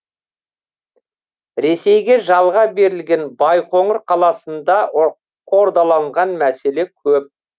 ресейге жалға берілген байқоңыр қаласында қордаланған мәселе көп